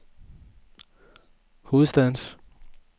hovedstadens